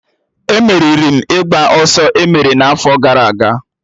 E meriri m ịgba ọsọ emere n'afọ gara aga